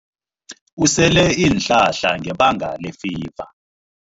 Usele iinhlahla ngebanga lefiva.